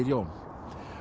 Jón